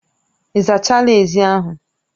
Ị zachala ezi ahụ